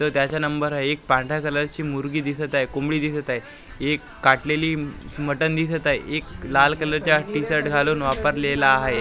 तो त्याचा नंबर आहे एक पांढऱ्या कलरची मुर्गी दिसत आहे कोंबडी दिसत आहे एक काटलेली मटन दिसत आहे एक लाल कलरचा टी शर्ट घालून वापरलेला आहे.